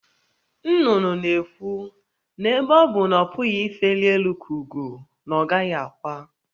Nnụnụ na-ekwu na ebe ọ bụ na ọ pụghị ifeli elu ka ugo, na ọ gaghị akwa.